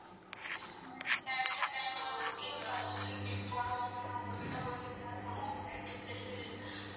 இந்த டை இந்த time ல வந்து பல்லுல clip போடலாமா உங்ககிட்ட கொஞ்சம் கேக்கணும் கேட்டுட்டு.